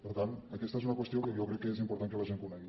per tant aquesta és una qüestió que jo crec que és important que la gent conegui